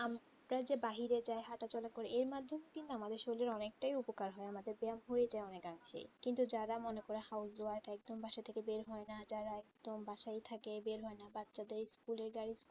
আমরা যে বাহিরে যাই হাঁটাচলা করি এর মাধ্যমে কিন্তু আমাদের শরীরের অনেকটাই উপকার হয় আমাদের ব্যায়াম হয়ে যায় অনেকাংশে কিন্তু যারা মনে করো housewife একদম বাসা থেকে বের হয়না যারা একদম বাসায় থাকে বের হয়না বাচ্চাদের school এর